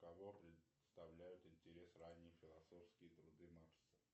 кого представляют интерес ранние философские труды маркса